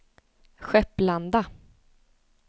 Skepplanda